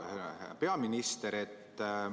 Hea peaminister!